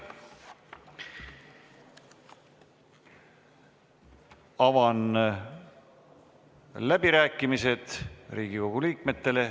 Avan läbirääkimised Riigikogu liikmetele.